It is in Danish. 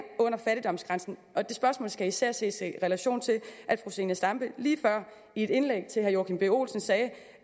under fattigdomsgrænsen og det spørgsmål skal især ses i relation til at fru zenia stampe lige før i et indlæg til herre joachim b olsen sagde